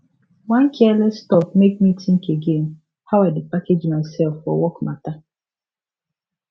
one careless talk make me think again how i dey package myself for work matter